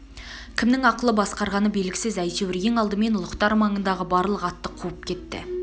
кімнің ақылы басқарғаны белгісіз әйтеур ең алдымен ұлықтар маңындағы барлық атты қуып кетті